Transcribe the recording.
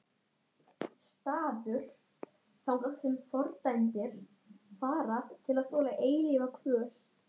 Hann tók andköf.